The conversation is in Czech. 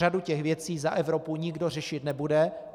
Řadu těch věcí za Evropu nikdo řešit nebude.